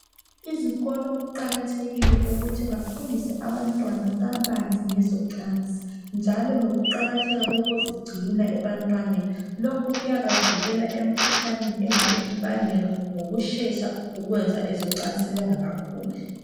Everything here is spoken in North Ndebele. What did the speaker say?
Izikolo kuqakathekile ukuthi bafundise abantwana kabanzi ngezocansi njalo lokuqakatheka kokuzigcina ebantwaneni. Lokhu kuyabavikela emkhuhlaneni engabe ibangelwa ngokushesha ukwenza okocansi bengakakhuli.